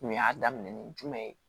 Kun y'a daminɛn ni jumɛn ye